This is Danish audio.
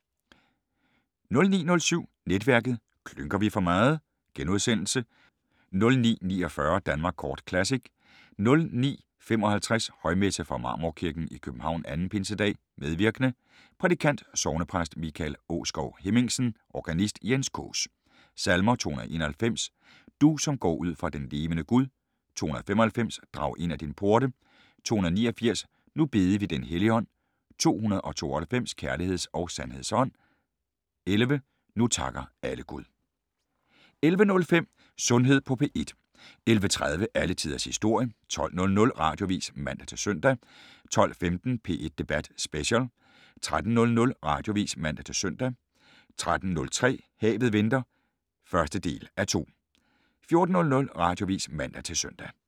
09:07: Netværket: Klynker vi for meget? * 09:49: Danmark Kort Classic 09:55: Højmesse - Fra Marmorkirken i København. 2. pinsedag. Medvirkende: Prædikant: Sognepræst Michael Aaskov Hemmingsen. Organist: Jens Kaas. Salmer: 291: "Du, som går ud fra den levende Gud". 295: " Drag ind ad dine porte". 289: " Nu bede vi den Helligånd". 292: " Kærligheds og sandheds Ånd". 11: " Nu takker alle Gud". 11:05: Sundhed på P1 11:30: Alle tiders historie 12:00: Radioavis (man-søn) 12:15: P1 Debat Special 13:00: Radioavis (man-søn) 13:03: Havet venter (1:2) 14:00: Radioavis (man-søn)